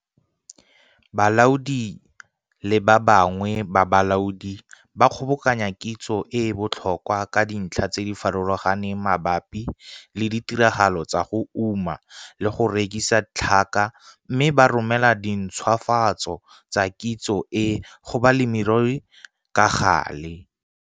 Balaodi le ba bangwe ba bolaodi ba kgobokanya kitso e e botlhokwa ka dintlha tse di farologaneng mabapi le ditiragalo tsa go uma le go rekisa tlhaka mme ba romela dintshwafatso tsa kitso e go balemirui ka gale.